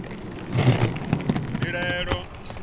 mbilahelo